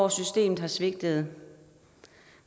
at systemet har svigtet